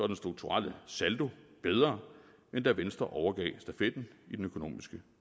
den strukturelle saldo bedre end da venstre overgav stafetten i den økonomiske